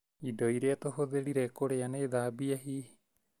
Indo iria tũhũthĩrire kũrĩa nĩ thambie hihi?